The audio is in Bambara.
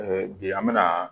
bi an bɛna